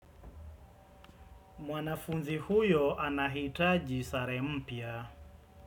Mwanafunzi huyo anahitaji sare mpya.